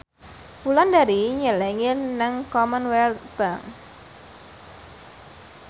Wulandari nyelengi nang Commonwealth Bank